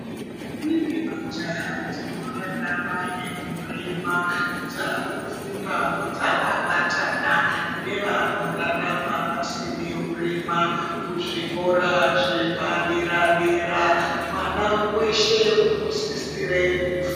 Ndombi nemajaha dzinorarama neurema dzakufundavo dzakabatana nevanorarama vasina urema. Kuzvikora zvepadera-dera mwana weshe unosisire kufunda.